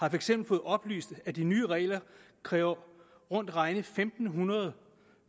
eksempel fået oplyst at de nye regler kræver rundt regnet fem hundrede